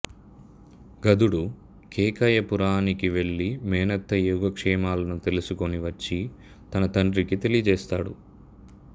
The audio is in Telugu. గదుడు కేకయపురానికి వెళ్ళి మేనత్త యోగక్షేమాలను తెలుసుకొని వచ్చి తన తండ్రికి తెలియజేస్తాడు